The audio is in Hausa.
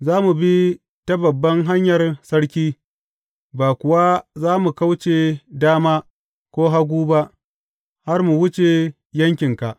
Za mu bi ta babban hanyar sarki, ba kuwa za mu kauce dama, ko hagu ba, har mu wuce yankinka.